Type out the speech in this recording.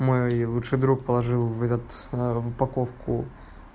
мой лучший друг положил в этот в упаковку